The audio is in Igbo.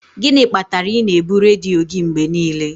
Gịnị kpatara na ị na-ebu redio gị mgbe niile?